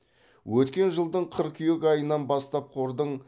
өткен жылдың қыркүйек айынан бастап қордың